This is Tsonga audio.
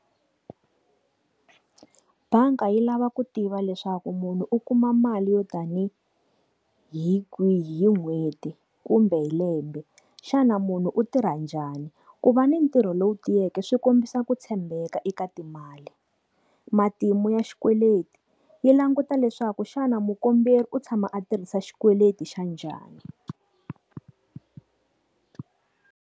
Banga yi lava ku tiva leswaku munhu u kuma mali yo tanihi kwihi hi n'hweti kumbe hi lembe xana munhu u tirha njhani, ku va ni ntirho loko wu tiyeke swi kombisa ku tshembeka eka timali. Matimu ya xikweleti yi languta leswaku xana mukomberi u tshama a tirhisa xikweleti xa njhani.